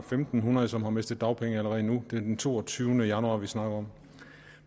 fem hundrede som har mistet dagpengene allerede nu det er den toogtyvende januar vi snakker om